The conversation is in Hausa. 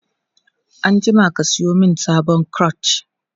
anjima ka Sayo min sabuwar clutch!